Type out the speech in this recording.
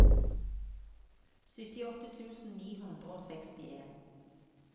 syttiåtte tusen ni hundre og sekstien